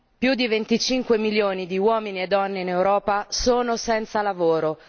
Più di 25 milioni di uomini e donne in Europa sono senza lavoro.